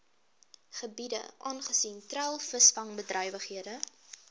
gebiede aangesien treilvisvangbedrywighede